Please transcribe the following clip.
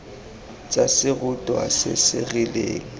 tsa serutwa se se rileng